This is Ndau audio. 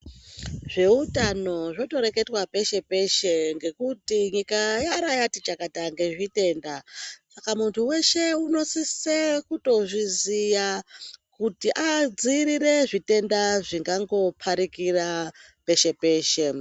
Zveutano zvotoreketwa peshe-peshe ngekuti nyika yaera yatichakata ngezvitenda saka muntu weshe unosise kutozviziya kuti adziirire zvitenda zvingango parikira peshe-peshe.